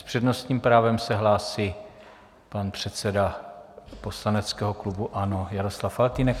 S přednostním právem se hlásí pan předseda poslaneckého klubu ANO Jaroslav Faltýnek.